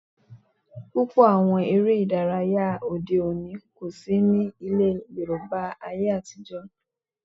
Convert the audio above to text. Púpọ̀ àwọn eré ìdárayá ayé òde òní kò sí ní ilẹ̀ Yorùbá láyé atijọ́